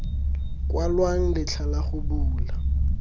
kwalwang letlha la go bula